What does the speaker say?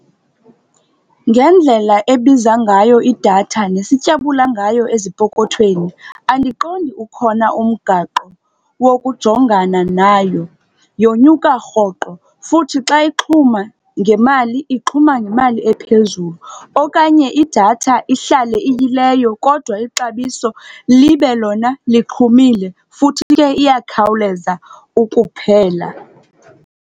Ngendlela ebiza ngayo idatha nesityabula ngayo ezipokothweni, andiqondi ukhona umgaqo wokujongana nayo. Yonyuka rhoqo futhi xa ixhuma ngemali, ixhuma ngemali ephezulu okanye idatha ihlale iyileyo kodwa ixabiso libe lona lixhumile. Futhi ke, iyakhawuleza ukuphela.